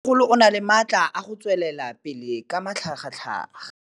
Mmêmogolo o na le matla a go tswelela pele ka matlhagatlhaga.